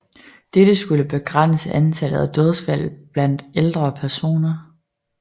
Dette skulle begrænse antallet af dødsfald blandt ældre personer